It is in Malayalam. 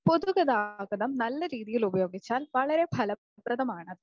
പൊതുഗതാഗതം നല്ല രീതിയിൽ ഉപയോഗിച്ചാൽ വളരെ ഫലപ്രദമാണ്.